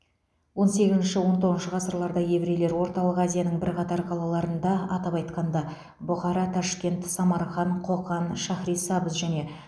он сегізінші он тоғызыншы ғасырларда еврейлер орталық азияның бірқатар қалаларында атап айтқанда бұхара ташкент самарқан қоқан шахрисабз және